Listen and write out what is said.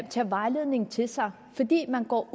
tage vejledningen til sig fordi man går